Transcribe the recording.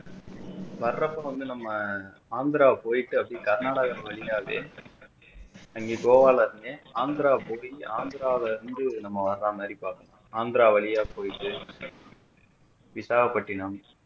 வர்றப்போ வந்து நம்ம ஆந்திரா போயிட்டு அப்படியோ கர்நாடகா வழியாவே அங்க கோவால இருந்து ஆந்திரா போய் ஆந்திரால இருந்து நம்ம வர்ற மாறி பாக்கணும் ஆந்திரா வழியா போயிட்டு விசாகா பட்டிணம்